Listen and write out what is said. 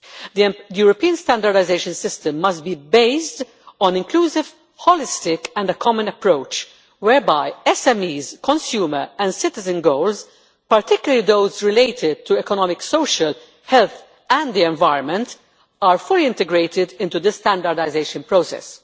The European standardisation system must be based on an inclusive, holistic and common approach whereby SMEs, consumer and citizen goals particularly those related to economic, social and health issues and the environment are fully integrated into the standardisation process.